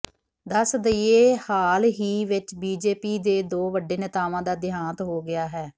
ਦੱਸ ਦਈਏ ਹਾਲ ਹੀ ਵਿਚ ਬੀਜੇਪੀ ਦੇ ਦੋ ਵੱਡੇ ਨੇਤਾਵਾਂ ਦਾ ਦੇਹਾਂਤ ਹੋ ਗਿਆ ਹੈ